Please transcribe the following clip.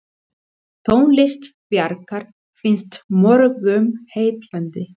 Tónlist Bjarkar finnst mörgum heillandi.